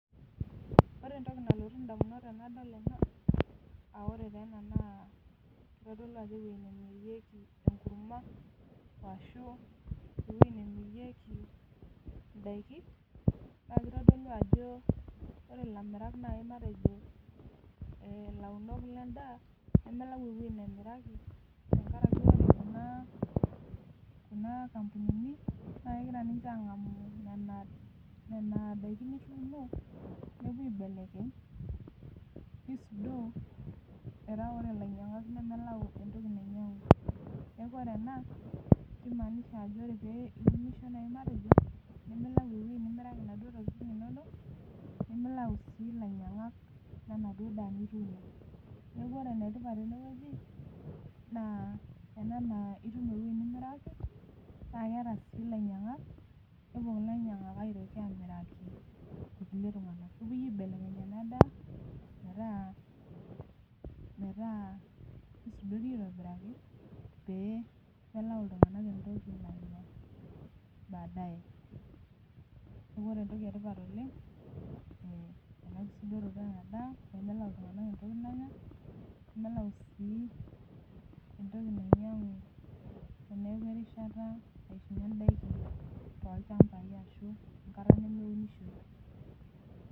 Ore entoki nalotu damunot tenadol ena. ore taa ena naa kitodolu ajo ewueji nemirieki enkurma, ashu ewueji nemirieki daikin. naa kitodolu ajo ore ilamirak naa .Nas ilaunok ledsa, nemelai ewueji nemiraki. tenkaraki ore Kuna, kampunini. naa kegira ninche aang'amu Nena daikin nituuno. nepuo aibelekeny. neisudoo. metaa ore ilainyangak nemelau entoki nainyiangu. neekh ore ena kimaanisha ore pee iunisho naaji matejo, nimilau ewueji nimiraki inaduoo tokitin inonok. nimilau sii ilainyangak. lenaduoo daa niyieu. neekh ore ene tipat tene wueji. naa ena naa itum ewueji nimiraki. naa keeta sii ilainyangak. nepuo ilainyangak, aitoki aamiraki kulie tunganak. nepuoi aibelekeny ena daa metaa, kisudori aitobiraki pee melau iltunganak entoki baadae. neeku ore entoki etipat oleng melau iltunganak entoki nanya. nemelau sii entoki nainyiangu toolchampai ashu enkata nemeinishoi.